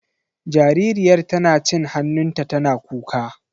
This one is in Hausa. Jaririyar tana cin hannunta tana kuka.